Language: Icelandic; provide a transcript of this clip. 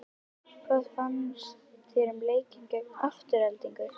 Hvað fannst þér um leikinn gegn Aftureldingu?